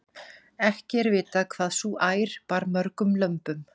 Ekki er vitað hvað sú ær bar mörgum lömbum.